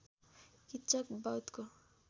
Kichak बधको